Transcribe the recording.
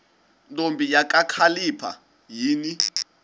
ntombi kakhalipha yini